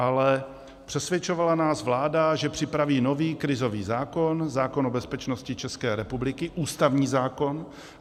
Ale přesvědčovala nás vláda, že připraví nový krizový zákon, zákon o bezpečnosti České republiky, ústavní zákon.